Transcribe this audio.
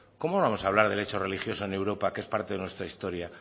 cómo no vamos a hablar del hecho religioso en europa que es parte de nuestra historia